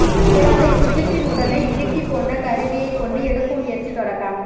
குழந்தை சுஜித்தின் உடலை இடுக்கி போன்ற கருவியை கொண்டு எடுக்கும் முயற்சி தொடக்கம்